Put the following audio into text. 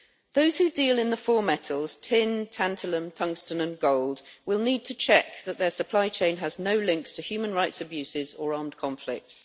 Those who deal in the four metals tin, tanatalum, tungsten and gold will need to check that their supply chain has no links to human rights abuses or armed conflicts.